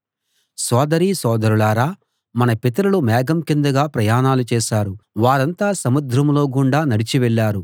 సొదరీ సోదరులారా మన పితరులు మేఘం కిందుగా ప్రయాణాలు చేశారు వారంతా సముద్రంలో గుండా నడిచి వెళ్ళారు